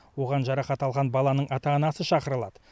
оған жарақат алған баланың ата анасы шақырылады